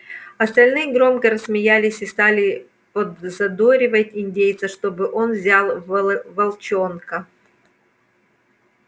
остальные громко рассмеялись и стали подзадоривать индейца чтобы он взял волчонка